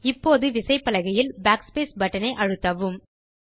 இப்போது விசைப்பலகையில் Backspace button ஐ அழுத்தவும்